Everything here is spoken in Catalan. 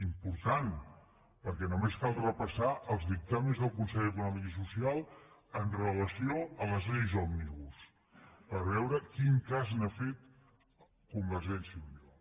important perquè només cal repassar els dictàmens del consell econòmic i social amb rela·ció a les lleis òmnibus per veure quin cas n’ha fet con·vergència i unió